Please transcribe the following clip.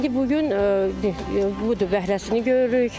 İndi bu gün, budur bəhrəsini görürük.